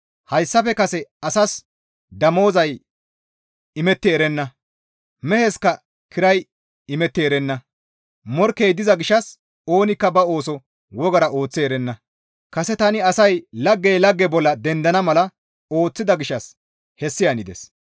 Hayssafe kase asaas damozay imetti erenna; meheskka kiray imetti erenna. Morkkey diza gishshas oonikka ba ooso wogara ooththi erenna; kase tani asay laggey lagge bolla dendana mala ooththida gishshas hessi hanides.